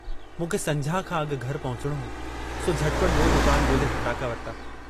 मूंखे संझा खां अगु घर पहुचणो हो, सो झट पट बियो दुकान गोल्हे फटाका वरता।